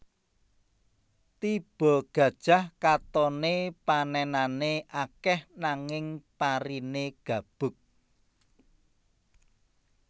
Tiba Gajah katoné panènané akèh nanging pariné gabug